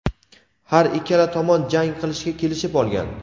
Har ikkala tomon jang qilishga kelishib olgan.